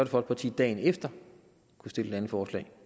folkeparti dagen efter kunne stille et andet forslag